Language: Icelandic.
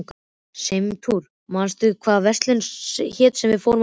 Steinrún, manstu hvað verslunin hét sem við fórum í á mánudaginn?